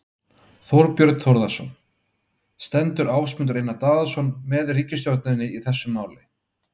Þorbjörn Þórðarson: Stendur Ásmundur Einar Daðason með ríkisstjórninni í þessu máli?